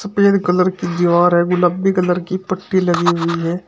Colour की दीवार है गुलाबी कलर की पट्टी लगी हुई है।